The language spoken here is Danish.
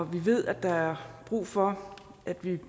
vi ved at der er brug for at vi